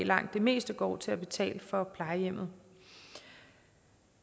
langt det meste går til at betale for plejehjemmet